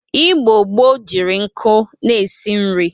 Igbo gboo jiri nkụ na-esi nri.